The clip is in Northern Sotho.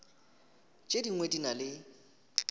tše dingwe di na le